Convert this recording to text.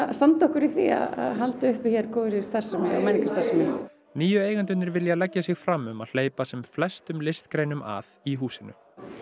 standa okkur í því að halda uppi hér góðri starfsemi og menningarstarfsemi nýju eigendurnir vilja leggja sig fram um að hleypa sem flestum listgreinum að í húsinu